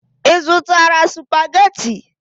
Ị zụtara supagetii?